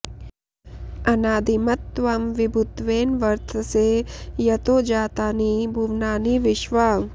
अनादिमत् त्वं विभुत्वेन वर्तसे यतो जातानि भुवनानि विश्वा